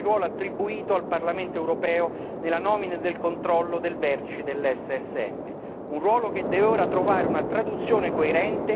Molto positivo è anche, oltre ad essere un importante precedente, il ruolo attribuito al Parlamento europeo nella nomina del controllo del vertice dell'SSM.